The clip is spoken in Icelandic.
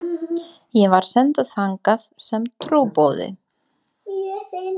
Ég var sendur þangað sem trúboði.